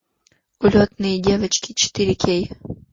улетные девочки четыре кей